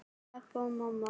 Pabbi og mamma